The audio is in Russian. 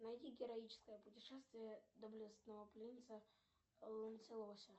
найди героическое путешествие доблестного принца ланселося